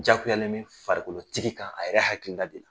Diyagoyalen mɛ Farikolotigi kan a yɛrɛ hakilila di.